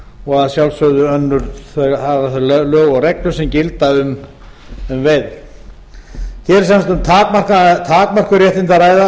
og að sjálfsögðu önnur þau lög og reglur sem gilda um veiðar hér er sem sagt um takmörkuð réttindi að ræða